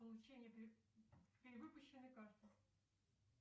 получение перевыпущенной карты